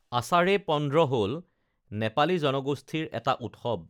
আষাড়ে পন্দ্ৰ হল নেপালী জনগোষ্ঠীৰ এটা উৎসৱ